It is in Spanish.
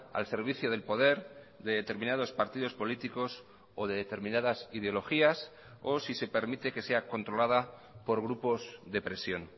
al servicio del poder de determinados partidos políticos o de determinadas ideologías o si se permite que sea controlada por grupos de presión